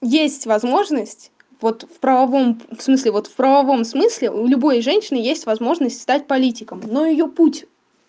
есть возможность вот в правовом в смысле вот в правовом смысле у любой женщины есть возможность стать политиком но у её путь